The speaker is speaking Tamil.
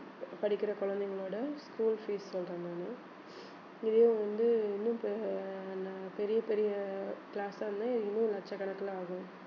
படிக்கிற குழந்தைங்களோட school fees சொல்றேன் நானு இதையும் வந்து இன்னும் பெ~ நா~ பெரிய பெரிய class ஆ இருந்தா இன்னும் லட்சக்கணக்குல ஆகும்